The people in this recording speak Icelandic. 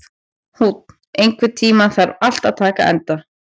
Húnn, einhvern tímann þarf allt að taka enda.